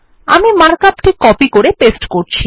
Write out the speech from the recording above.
আমি mark up টি copy করে পেস্ট করছি